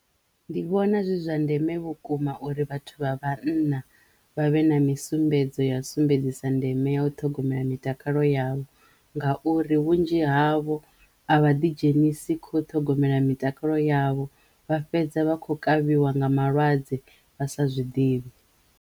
Ndi vhona zwi zwa ndeme vhukuma uri vhathu vha vhanna vha vhe na misumbedzo ya sumbedzisa ndeme ya u ṱhogomela mitakalo yavho ngauri vhunzhi havho a vha ḓi dzhenisi kho ṱhogomela mitakalo yavho vha fhedza vha khou kavhiwa nga malwadze vha sa zwiḓivhi.